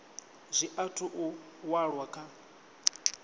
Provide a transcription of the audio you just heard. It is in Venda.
zwi athu u walwa kha